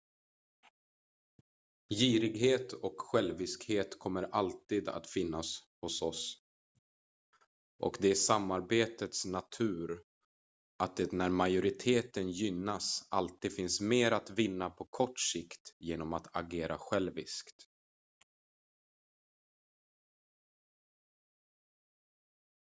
girighet och själviskhet kommer alltid att finnas hos oss och det är samarbetets natur att det när majoriteten gynnas alltid finns mer att vinna på kort sikt genom att agera själviskt